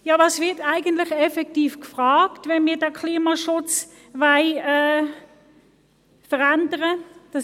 Was ist effektiv betroffen, wenn wir den Klimaschutz verändern wollen?